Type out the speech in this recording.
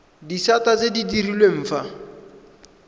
disata tse di direlwang fa